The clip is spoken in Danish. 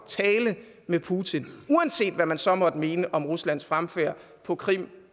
tale med putin uanset hvad man så måtte mene om ruslands fremfærd på krim